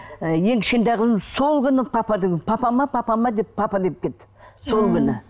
ы ең кішкентай қызым сол күні папа папа ма папа ма деп папа деп кетті сол күні